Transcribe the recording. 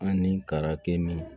Ani kara kɛ min